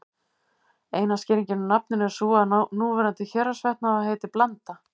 Eina skýringin á nafninu er sú að núverandi Héraðsvötn hafi heitið Blanda.